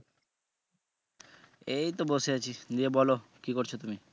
এই তো বসে আছি, ইয়ে বলো কি করছো তুমি?